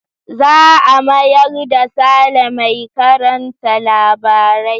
Za a mayar da Sale mai karanta labarai.